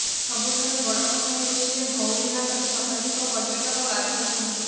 ସବୁଠାରୁ ବଡ଼ କଥା ହେଉଛି ଯେ ଧଉଳି ଘାଟରେ ଶତାଧିକ ପର୍ଯ୍ୟଟକ ଗାଧୋଇଛନ୍ତି